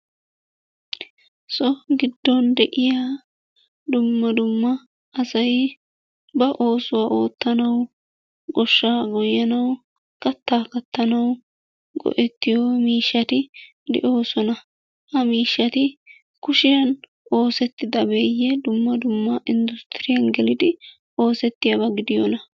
So giddon de'iya dumma dumma asayi ba oosuwa oottanawu goshshaa goyyanawu kattaa kattanawu go'ettiyo miishshati de'oosona. Ha miishshati kushiyan oosettidabeeyye dumma dumma industturiyan gelidi oosettiyaba gidiyonaa.